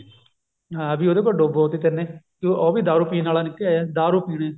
ਹਾਂ ਵੀ ਉਹਦੇ ਕੋਲ ਡੁਬੋ ਤੀ ਤੈਨੇ ਤੇ ਉਹ ਵੀ ਦਾਰੂ ਪੀਣ ਆਲਾ ਨਿਕਲਿਆ ਦਾਰੂ ਪੀਣੇ